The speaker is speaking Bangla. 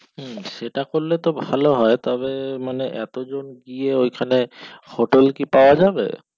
এটা কইলে তো ভালো হয় তবে মানে আটজন গিয়ে ঐখানে হোটেল কি পাওয়া যাবে